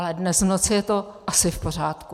Ale dnes v noci je to asi v pořádku.